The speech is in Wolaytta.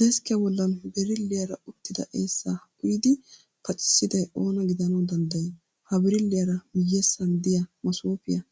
Deskkiya bollan birilliiyaara uttida eessaa uyidi pacissiday oonaa gidanawu danddayii? Ha birilliya miyyessan diya masoofiya